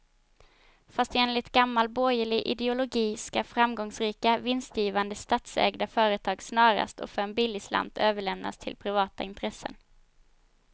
Fast enligt gammal borgerlig ideologi ska framgångsrika, vinstgivande statsägda företag snarast och för en billig slant överlämnas till privata intressen.